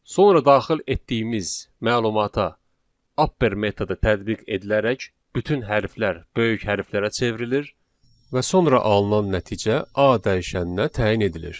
Sonra daxil etdiyimiz məlumata upper metodu tətbiq edilərək bütün hərflər böyük hərflərə çevrilir və sonra alınan nəticə A dəyişəninə təyin edilir.